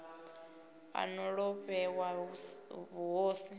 a no ḓo vhewa vhuhosi